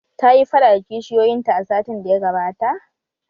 Ta yi faɗa da kishiyoyin ta a satin daya gabata?